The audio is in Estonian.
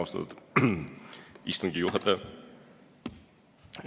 Austatud istungi juhataja!